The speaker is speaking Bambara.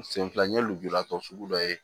Sen fila n ye lujuratɔ sugu dɔ ye